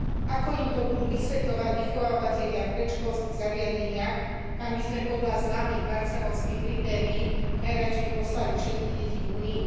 Ako im to budú vysvetľovať vychovávatelia v predškolských zariadeniach, kam by sme podľa známych Barcelonských kritérií najradšej poslali všetky deti v Únii?